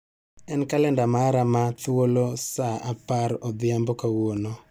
En kalenda mara ma thuolo saa apar odhiambo kawuono.